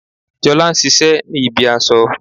Jolá n sisé ní ibi aso